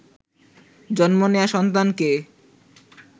জন্ম নেয়া সন্তানকে